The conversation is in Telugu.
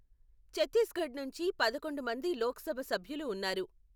ఛత్తీస్గఢ్ నుంచి పదకొండు మంది లోక్ సభ సభ్యులు ఉన్నారు.